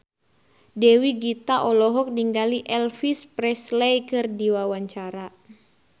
Dewi Gita olohok ningali Elvis Presley keur diwawancara